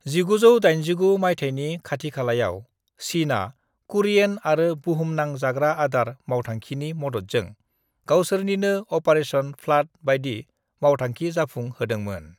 "1989 माइथायनि खाथिखालायाव, चीनआ कुरियेन आरो बुहुमनां जाग्रा आदार मावथांखिनि मददजों गावसोरनिनो अपारेशन फ्लाड बायदि मावथांखि जाफुं होदोंमोन।"